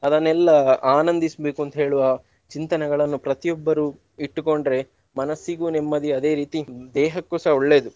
ಅದನ್ನೆಲ್ಲಾ ಆನಂದಿಸ್ಬೇಕು ಅಂತೇಳುವ ಚಿಂತನೆಗಳನ್ನು ಪ್ರತಿಯೊಬ್ಬರೂ ಇಟ್ಟುಕೊಂಡ್ರೆ ಮನಸ್ಸಿಗೂ ನೆಮ್ಮದಿ ಅದೇ ರೀತಿ ದೇಹಕ್ಕೂ ಸಹ ಒಳ್ಳೇದು.